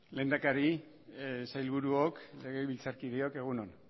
lehendakari sailburuok legebiltzarkideok egun on